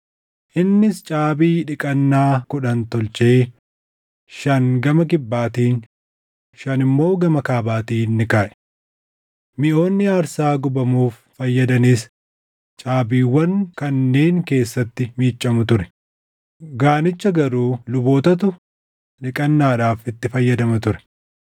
Innis caabii dhiqannaa kudhan tolchee shan gama kibbaatiin, shan immoo gama kaabaatiin ni kaaʼe. Miʼoonni aarsaa gubamuuf fayyadanis caabiiwwan kanneen keessatti miiccamu ture; Gaanicha garuu lubootatu dhiqannaadhaaf itti fayyadama ture.